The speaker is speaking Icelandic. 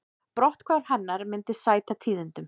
Brotthvarf hennar myndi því sæta tíðindum